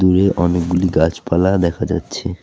দূরে অনেকগুলি গাছপালা দেখা যাচ্ছে।